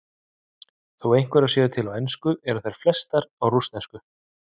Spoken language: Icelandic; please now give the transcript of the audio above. Þó einhverjar séu til á ensku eru þær flestar á rússnesku.